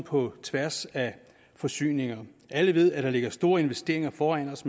på tværs af forsyningerne alle ved at der ligger store investeringer foran os